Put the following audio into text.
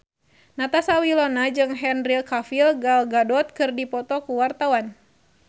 Natasha Wilona jeung Henry Cavill Gal Gadot keur dipoto ku wartawan